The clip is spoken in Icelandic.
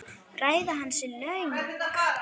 Ræða hans er löng.